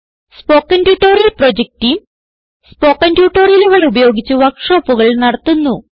spoken tutorial project team spoken ട്യൂട്ടോറിയലുകൾ ഉപയോഗിച്ച് വർക്ക് ഷോപ്പുകൾ നടത്തുന്നു